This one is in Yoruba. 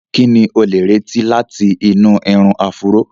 Kí ni o lè retí láti inú irun áfúró?